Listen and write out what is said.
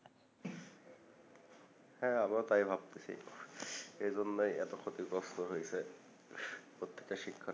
হ্যাঁ আমরাও তাই ভাবতেসি এজন্যই এত ক্ষতিগ্রস্ত হইসে প্রত্যেকটা শিক্ষার্থী